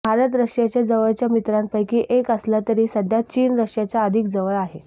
भारत रशियाच्या जवळच्या मित्रांपैकी एक असला तरी सध्या चीन रशियाच्या अधिक जवळ आहे